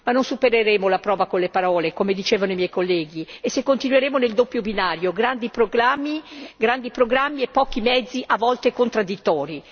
Ma non supereremo la prova con le parole come dicevano i miei colleghi e se continueremo nel doppio binario, grandi proclami, grandi programmi e pochi mezzi a volte contraddittori.